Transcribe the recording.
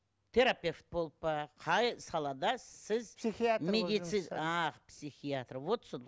терапевт болып па қай салада сіз психиатр а психиатр вот сол